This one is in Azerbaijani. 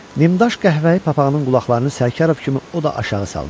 Nimdaş qəhvəyi papağının qulaqlarını Sərkarov kimi o da aşağı salmışdı.